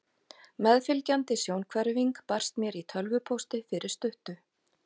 Meðfylgjandi sjónhverfing barst mér í tölvupósti fyrir stuttu.